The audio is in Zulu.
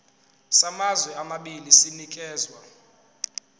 samazwe amabili sinikezwa